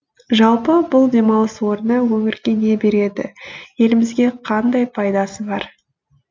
жалпы бұл демалыс орны өңірге не береді елімізге қандай пайдасы бар